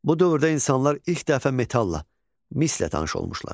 Bu dövrdə insanlar ilk dəfə metall, mislə tanış olmuşlar.